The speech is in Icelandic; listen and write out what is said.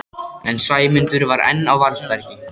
En Sæmundur var enn á varðbergi.